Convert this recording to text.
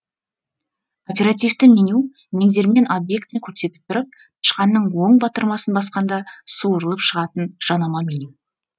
оперативті меню меңзермен объектіні көрсетіп тұрып тышқанның оң батырмасын басқанда суырылып шығатын жанама меню